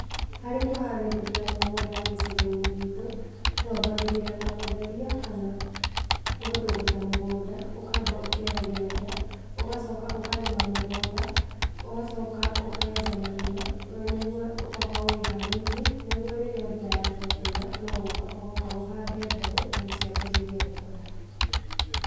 Harῖ kῦharῖrῖria mῦgῦnda gῖcigoini gitῦ, twambagῖrῖra na gῦtheria kana gῦtῦgῦta mῦgῦnda, ῦkamba ῦkeheria ria ῦgacoka ῦkarῖma mῦgῦnda, ῦgacoka ῦkenja marima na niguo ῦgakorwo wihariirie nigῦo rῖrῖa mbura yambῖrῖria kuura, no gῦka ῦgoka ῦhande mbegu nῖguo ciambῖrῖrie gῦkῦra.